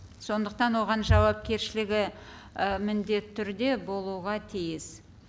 сондықтан оған жауапкершілігі і міндетті түрде болуға тиіс